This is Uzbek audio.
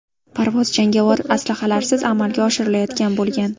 Parvoz jangovar aslahalarsiz amalga oshirilayotgan bo‘lgan.